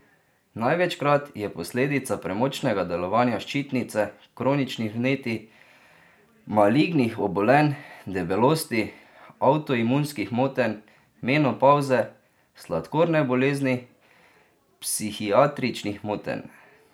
Največkrat je posledica premočnega delovanja ščitnice, kroničnih vnetij, malignih obolenj, debelosti, avtoimunskih motenj, menopavze, sladkorne bolezni, psihiatričnih motenj ...